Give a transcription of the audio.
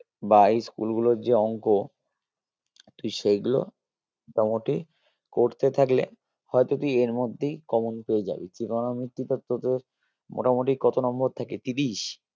বা এই school গুলোর যে অঙ্ক তুই সেগুলো মোটামোটি করতে থাকলে হয় তো তুই এর মধ্যেই common পেয়ে যাবি trigonometry তে তোদের মোটামোটি কত number থাকে তিরিশ?